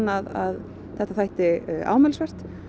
að þetta væri ámælisvert